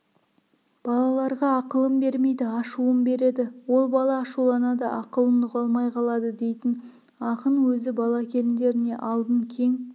балаларға ақылын бермейді ашуын береді оған бала ашуланады ақылын ұға алмай қалады дейтін ақын өзі бала-келіндеріне алдын кең